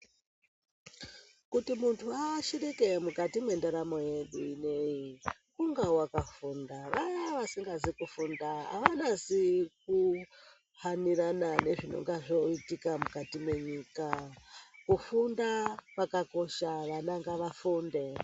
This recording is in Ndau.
Kuti muntu aashirike mukati mwendaramo yedu ineyi ,kunga wakafunda. Vaya vasingazi kufunda, avanasi kuhanirana nezvinonga zvoitika mukati mwenyika. Kufunda kwakakosha, vana ngavafunde.